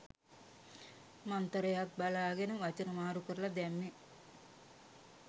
මන්තරයක් බලාගෙන වචන මාරු කරලා දැම්මේ.